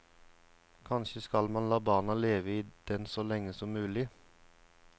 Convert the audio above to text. Kanskje skal man la barna leve i den så lenge som mulig.